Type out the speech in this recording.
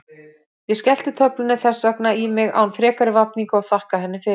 Ég skellti töflunni þess vegna í mig án frekari vafninga og þakkaði henni fyrir.